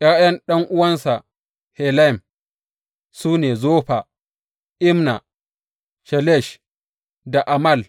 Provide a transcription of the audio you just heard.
’Ya’yan ɗan’uwansa Helem su ne, Zofa, Imna, Shelesh da Amal.